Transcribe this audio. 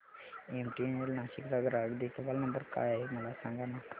MTNL Nashik चा ग्राहक देखभाल नंबर काय आहे मला सांगाना